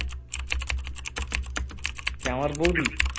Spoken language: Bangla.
কে আমার বৌদি